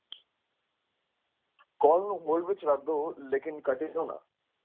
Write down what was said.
Call ਨੂੰ hold ਵਿੱਚ ਰੱਖ ਦਓ ਲੇਕਿਨ ਕੱਟਿਓ ਨਾ।